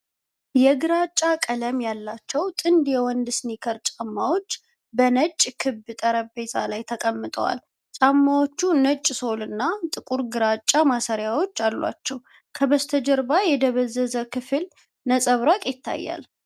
የግራጫ ቀለም ያላቸው ጥንድ የወንዶች ስኒከር ጫማዎች በነጭ ክብ ጠረጴዛ ላይ ተቀምጠዋል። ጫማዎቹ ነጭ ሶልና ጥቁር ግራጫ ማሰሪያዎች አሏቸው። ከበስተጀርባ የደበዘዘ ክፍል ነጸብራቅ ይታያል።